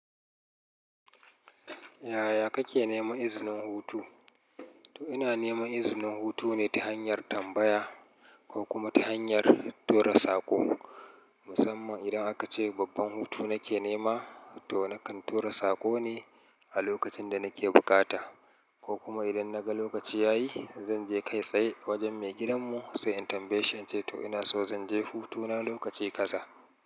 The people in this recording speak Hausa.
Yaya kake nema izinin hutu? To ina nema izinin hutu ne ta hanyar tambaya ko kuma ta hanyar tura saƙo. Musamman idan aka ce babban hutu nake nema, to nakan tura saƙo ne a lokacin da nake bukata, ko kuma idan naga lokaci yayi zanje kai tsaye wajen maigidan mu sai in tambaye, in ce to ina so zanje hutuna lokaci kaza.